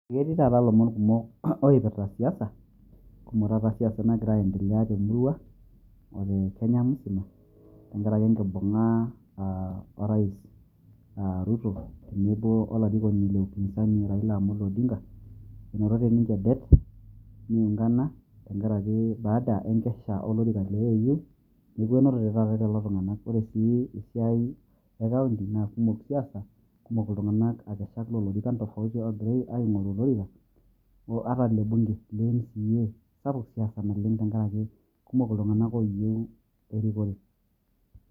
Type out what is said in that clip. Ketii taata lomon kumok oipirta siasa, kumok taata siasa nagira aiendelea temurua o te Kenya musima tenkaraki enkibung'a ah o rais ah Ruto tenebo olarikoni le upinzani Raila Amolo Odinga. Enotote ninche det, niungana tenkaraki baada enkesha olorika le AU ,neeku enotote taata lelo tung'anak. Ore si esiai e kaunti na kumok siasa, kumok iltung'anak akeshak lo lorikan tofauti ogira aing'oru olorika o ata le bunge, le MCA, sapuk siasa naleng' tenkaraki kumok iltung'anak oyieu erikore.